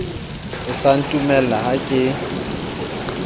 e sa ntumella ha ke